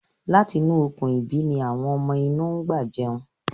Láti inú Okùn-ìbí ni àwọn ọmọ inú ń gbà jẹun.